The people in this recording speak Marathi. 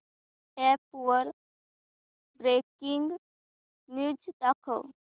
अॅप वर ब्रेकिंग न्यूज दाखव